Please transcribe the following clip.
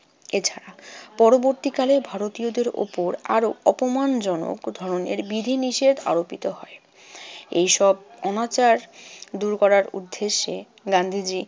এছাড়া পরবর্তীকালে ভারতীয়দের ওপর আরো অপমানজন ধরনের বিধিনিষেধ আরোপিত হয়। এইসব অনাচার দূর করার উদ্দেশ্যে গান্ধীজি